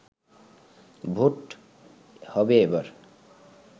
vote হবে এবার